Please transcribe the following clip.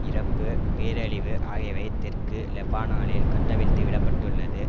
இறப்பு பேரழிவு ஆகியவை தெற்கு லெபனாலில் கட்டவிழ்த்து விட பட்டுள்ளது